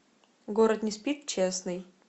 город не спит честный